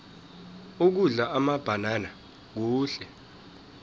ukudla amabhanana kuhle